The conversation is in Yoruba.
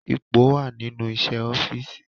Ipò wà nínú iṣẹ́ ọ́fíìsì